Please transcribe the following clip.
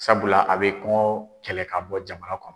Sabula a bɛ kɔnkɔ kɛlɛ ka bɔ jamana kɔnɔ.